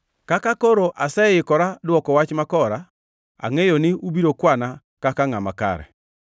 Kaka koro aseikora dwoko wach makora, angʼeyo ni ubiro kwana kaka ngʼama kare.